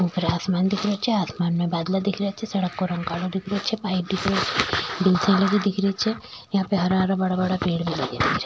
ऊपर आसमान दिख रो छे आसमान में बादला दिख रहे छे यहाँ पे हरा हरा बड़ा बड़ा पेड़ लगया दिख रा छे।